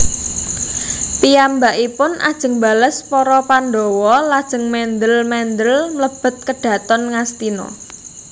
Piyambakipun ajeng mbales para Pandhawa lajeng mendhèl mendhèl mlebet kedhaton Ngastina